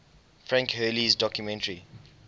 frank hurley's documentary